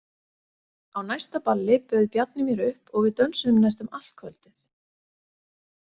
Á næsta balli bauð Bjarni mér upp og við dönsuðum næstum allt kvöldið.